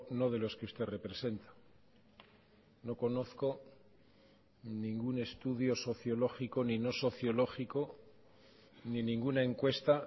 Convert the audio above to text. no de los que usted representa no conozco ningún estudio sociológico ni no sociológico ni ninguna encuesta